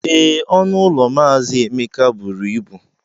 Ee, ọnụ ụlọ mazi Emeka buru ibu.